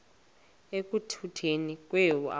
ekutuneni kwethu abantu